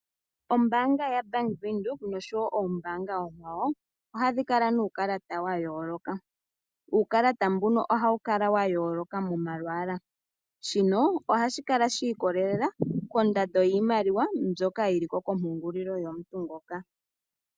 Ombaanga yaaVenduka, osho wo oombaanga oonkwawo ohadhi kala nuukalata wayooloka. Uukalata ohawu kala wa yoolokathana momalwaala, ohashi kala shi ikolelela kondando yiimaliwa mbyoka yili ko komapungulilo.